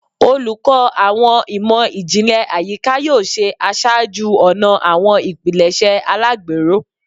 Oluko Awọn Imọ-jinlẹ Ayika yoo ṣe aṣáájú-ọnà awọn ipilẹṣẹ alagbero